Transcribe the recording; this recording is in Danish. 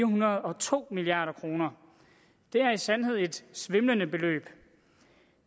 hundrede og to milliard kroner det er i sandhed et svimlende beløb